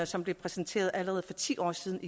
som blev præsenteret allerede for ti år siden